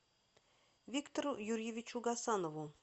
виктору юрьевичу гасанову